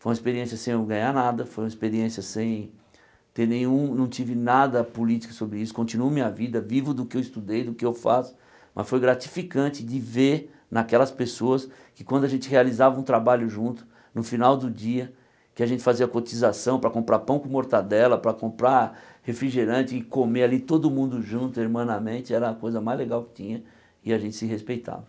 Foi uma experiência sem eu ganhar nada, foi uma experiência sem ter nenhum, não tive nada político sobre isso, continuo minha vida, vivo do que eu estudei, do que eu faço, mas foi gratificante de ver naquelas pessoas que quando a gente realizava um trabalho junto, no final do dia, que a gente fazia cotização para comprar pão com mortadela, para comprar refrigerante e comer ali todo mundo junto, irmanamente, era a coisa mais legal que tinha e a gente se respeitava.